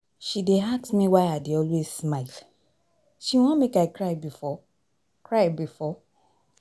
She dey ask me why I dey always smile, she wan make I cry before? cry before?